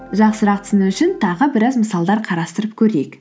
жақсырақ түсіну үшін тағы біраз мысалдар қарастырып көрейік